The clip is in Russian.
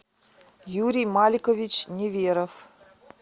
юрий маликович неверов